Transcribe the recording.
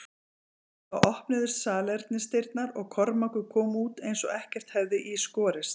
Þá opnuðust salernisdyrnar og Kormákur kom út eins og ekkert hefði í skorist.